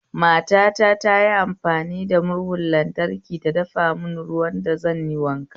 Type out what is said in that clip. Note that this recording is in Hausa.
Matata tayi amfani da murhun lantraki ta dafa mun ruwan da zanyi wanka